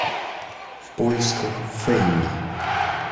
в поисках фэнни